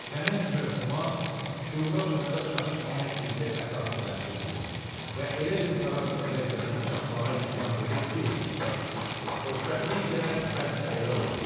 Nəhəng məfhuma şüura onda çatışmayan gizli əsası bəxş eləyir və elə bir tarazlıq vəziyyətinə çatmağa imkan verir ki, xoşbəxtlik də məhz elə odur.